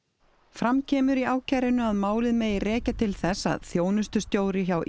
fram kemur í ákærunni að málið megi rekja til þess að þjónustustjóri hjá